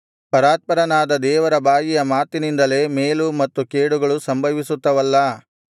ಪರಾತ್ಪರನಾದ ದೇವರ ಬಾಯಿಯ ಮಾತಿನಿಂದಲೇ ಮೇಲು ಮತ್ತು ಕೇಡುಗಳು ಸಂಭವಿಸುತ್ತವಲ್ಲಾ